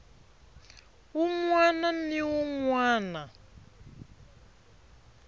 wun wana ni wun wana